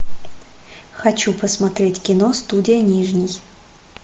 хочу посмотреть кино студия нижний